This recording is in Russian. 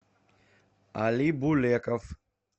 али булеков